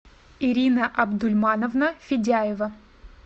ирина абдульмановна федяева